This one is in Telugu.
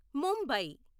ముంబై